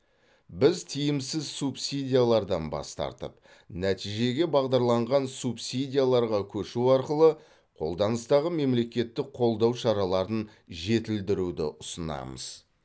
біз тиімсіз субсидиялардан бас тартып нәтижеге бағдарланған субсидияларға көшу арқылы қолданыстағы мемлекеттік қолдау шараларын жетілдіруді ұсынамыз